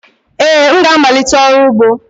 Ee, m ga-amalite ọrụ ugbo